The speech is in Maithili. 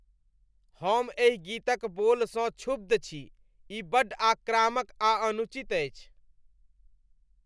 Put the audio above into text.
हम एहि गीतक बोलसँ क्षुब्ध छी। ई बड्ड आक्रामक आ अनुचित अछि।